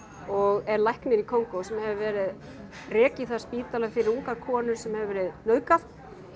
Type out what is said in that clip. og er læknir í Kongó sem hefur rekið þar spítala fyrir ungar konur sem hefur verið nauðgað